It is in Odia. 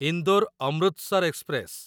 ଇନ୍ଦୋର ଅମୃତସର ଏକ୍ସପ୍ରେସ